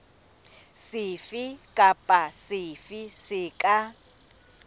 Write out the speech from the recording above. sefe kapa sefe se ka